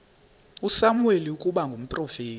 usamuweli ukuba ngumprofeti